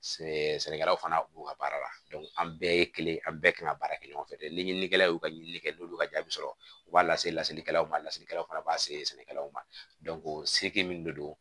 Sɛnɛkɛlaw fana u ka baara la an bɛɛ ye kelen ye an bɛɛ kan ka baara kɛ ɲɔgɔn fɛ dɛ ɲininikɛla y'u ka ɲinini kɛ n'olu ka jaabi sɔrɔ u b'a lase lasigikɛlaw ma lasigilaw fana b'a se sɛnɛkɛlaw ma o se tɛ min de don